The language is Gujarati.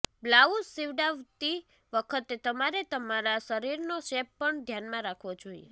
બ્લાઉઝ સિવડાવતી વખતે તમારે તમારા શરીરનો શેપ પણ ધ્યાનમા રાખવો જોઈએ